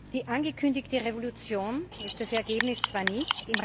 Die angekündigte Revolution ist das Ergebnis zwar nicht